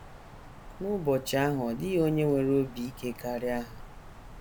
N’ụbọchị ahụ, ọ dịghị onye nwere obi ike karịa ha.